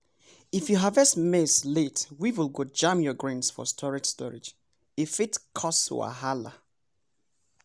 if you harvest maize late weevil go jam your grains for storage storage e fit cause wahala.